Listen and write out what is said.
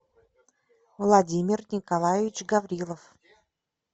владимир николаевич гаврилов